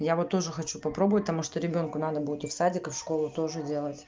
я вот тоже хочу попробовать потому что ребёнку надо будет и в садик и в школу тоже делать